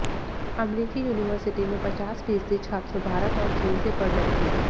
अमरीकी यूनिवर्सिटी में पचास फीसदी छात्र भारत और चीन से पढ़ रहे हैं